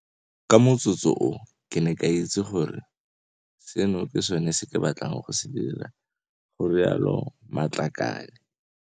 Ka motsoso oo ke ne ka itse gore seno ke sone se ke batlang go se dira, ga rialo Matlakane.